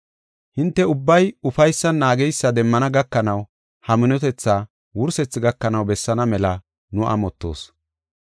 Hinte ubbay ufaysan naageysa demmana gakanaw ha minotethaa wursethi gakanaw bessaana mela nu amottoos.